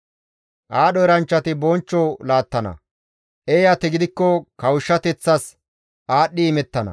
Aadho eranchchati bonchcho laattana; eeyati gidikko kawushshateththas aadhdhi imettana.